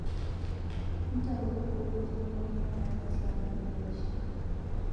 Ntayu ewueji niyengiyengare tiang' ingira aishiu.